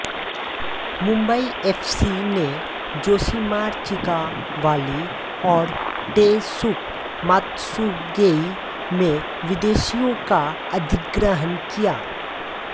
Mumbai FC ने Josimar Chika Wali और Taisuke Matsugae में विदेशियों का अधिग्रहण किया